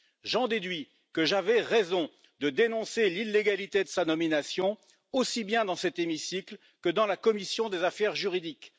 J'en déduis que j'avais raison de dénoncer l'illégalité de sa nomination, aussi bien dans cet hémicycle que dans la commission des affaires juridiques.